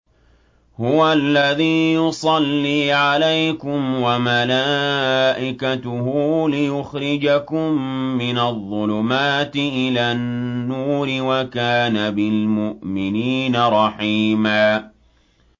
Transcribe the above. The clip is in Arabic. هُوَ الَّذِي يُصَلِّي عَلَيْكُمْ وَمَلَائِكَتُهُ لِيُخْرِجَكُم مِّنَ الظُّلُمَاتِ إِلَى النُّورِ ۚ وَكَانَ بِالْمُؤْمِنِينَ رَحِيمًا